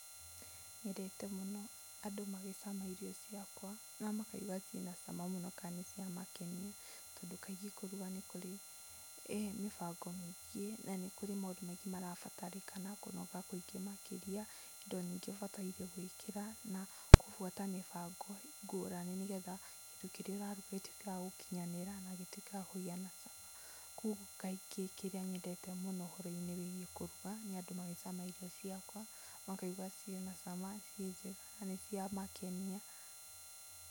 Nyendete mũno andũ magĩcama irio ciakwa na makaigua ciĩna cama mũno, kana nĩ ciamakenia. Tondũ kaingĩ kũruga nĩ kũrĩ mĩbango mĩingĩ, na nĩ kũrĩ maũndũ maĩngĩ marabatarĩkana, kũnoga makĩria, indo nyingĩ ũbatataire gwĩkĩra na gũbuata mĩbango ngũrani nĩgetha kĩndũ kĩrĩa ũraruga gĩtuĩke wa gũkinyanĩra na gĩtuĩke wakũgĩa na cama. Koguo kaingĩ kĩndũ kĩrĩa nyendete mũno kĩgiĩ kũruga, nĩ andũ magĩcama irio ciakwa, makaigua ciĩna cama, ciĩnjega na nĩ ciamakenia.